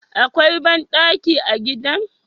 Akwai bandaki a gidan?